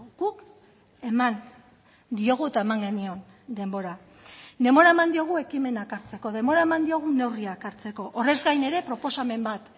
guk eman diogu eta eman genion denbora denbora eman diogu ekimenak hartzeko denbora eman diogu neurriak hartzeko horrez gain ere proposamen bat